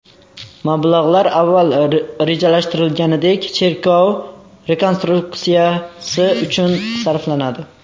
Mablag‘lar avval rejalashtirilganidek, cherkov rekonstruksiyasi uchun sarflanadi.